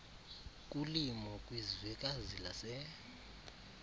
kulimo kwizwekazi lase